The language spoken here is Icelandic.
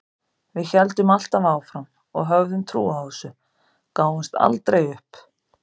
Við héldum alltaf áfram og höfðum trú á þessu, gáfumst aldrei upp.